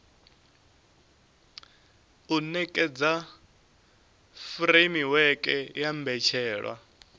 u nekedza furemiweke ya mbetshelwa